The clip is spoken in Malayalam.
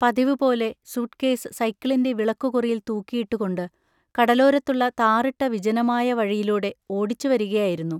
പതിവുപോലെ സൂട്ട്കേസ് സൈക്കിളിന്റെ വിളക്കുകുറിയിൽ തൂക്കിയിട്ടു കൊണ്ട് കടലോരത്തുള്ള താറിട്ട വിജനമായ വഴിയിലൂടെ ഓടിച്ചുവരികയായിരുന്നു.